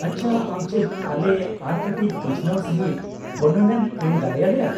-ᱟᱪᱪᱷᱟ, ᱟᱢ ᱪᱮᱫ ᱟᱞᱮ ᱟᱨ ᱠᱟᱹᱴᱤᱡ ᱵᱤᱪᱷᱱᱟᱹᱣ ᱥᱟᱹᱦᱤᱡ ᱵᱚᱨᱱᱚᱱᱮᱢ ᱮᱢ ᱫᱟᱲᱮᱭᱟᱞᱮᱭᱟ ?